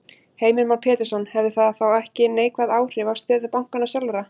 Heimir Már Pétursson: Hefði það ekki þá neikvæð áhrif á stöðu bankanna sjálfra?